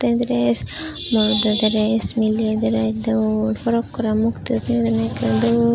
midress morodo dress miley dress dol forokkorey mukti uriney ekkerey dol.